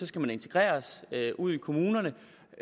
skal integreres ude i kommunerne